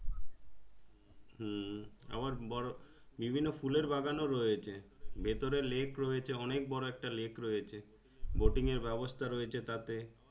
হম আবার বরো বিভিন্ন ফুলের বাগানো রয়েছে ভেতরে lake রয়েছে অনেক বড়ো একটা lake রয়েছে boating এর ব্যাবস্থা রয়েছে তাতে